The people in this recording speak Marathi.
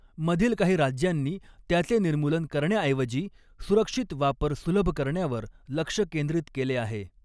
मधील काही राज्यांनी त्याचे निर्मूलन करण्याऐवजी सुरक्षित वापर सुलभ करण्यावर लक्ष केंद्रित केले आहे.